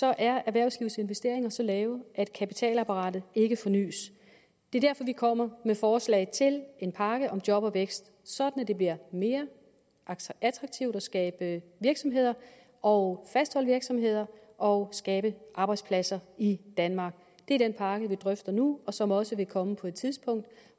er erhvervslivets investeringer så lave at kapitalapparatet ikke fornys det er derfor vi kommer med forslag til en pakke om job og vækst sådan at det bliver mere attraktivt at skabe virksomheder og fastholde virksomheder og skabe arbejdspladser i danmark det er den pakke vi drøfter nu og som også vil komme på et tidspunkt